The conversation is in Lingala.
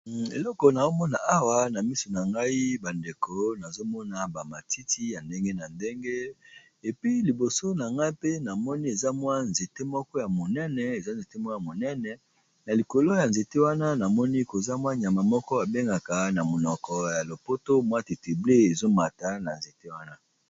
eleko na omona awa na miso na ngai bandeko nazomona bamatiti ya ndenge na ndenge epi liboso na ngai mpe namoni eza mwa eeme eza nzete mwo ya monene na likolo ya nzete wana namoni koza mwa nyama moko abengaka na monoko ya lopoto mwatitible ezomata na nzete wana